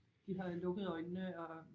De har lukket øjnene og